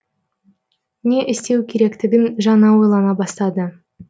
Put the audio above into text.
не істеу керектігін жаңа ойлана бастады